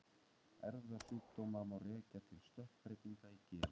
Erfðasjúkdóma má rekja til stökkbreytinga í genum.